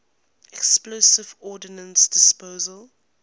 explosive ordnance disposal